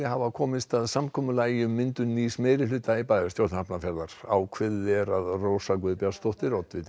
hafa komist að samkomulagi um myndun nýs meirihluta í bæjarstjórn Hafnarfjarðar ákveðið er að Rósa Guðbjartsdóttir oddviti